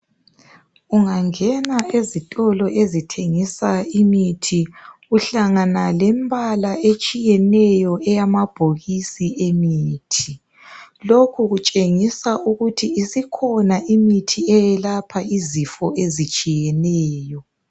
Unganena ezitolo ezithengisa imithi. Uhlangana lembala etshiyeneyo eyambabhokisi emithi. Lokhu kutshengisa ukuthi isikhona imithi eyelapha izifo ezitshiyeneyo.